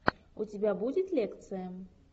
у тебя будет лекция